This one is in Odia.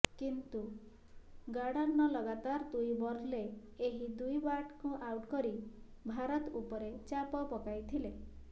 କିନ୍ତୁ ଗାର୍ଡନର୍ ଲାଗାତାର ଦୁଇ ବଲ୍ରେ ଏହି ଦୁଇ ବ୍ୟାଟର୍ଙ୍କୁ ଆଉଟ୍ କରି ଭାରତ ଉପରେ ଚାପ ପକାଇଥିଲେ